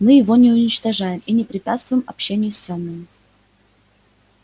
мы его не уничтожаем и не препятствуем общению с тёмным